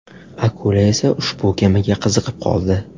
Akula esa ushbu kemaga qiziqib qoldi.